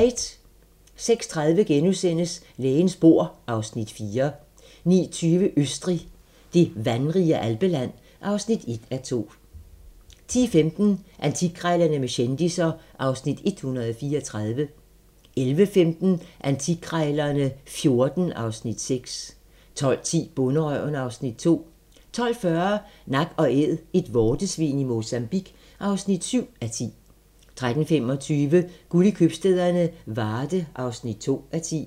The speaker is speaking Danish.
06:30: Lægens bord (Afs. 4)* 09:20: Østrig - det vandrige alpeland (1:2) 10:15: Antikkrejlerne med kendisser (Afs. 134) 11:15: Antikkrejlerne XIV (Afs. 6) 12:10: Bonderøven (Afs. 2) 12:40: Nak & Æd - et vortesvin i Mozambique (7:10) 13:25: Guld i købstæderne - Varde (2:10)